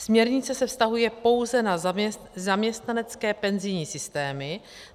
Směrnice se vztahuje pouze na zaměstnanecké penzijní systémy.